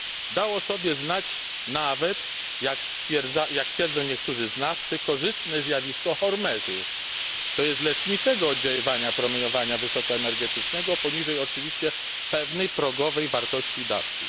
Dało o sobie znać nawet, jak twierdzą niektórzy znawcy, korzystne zjawisko hormezy, to jest leczniczego oddziaływania promieniowania wysoko energetycznego poniżej oczywiście pewnej progowej wartości dawki.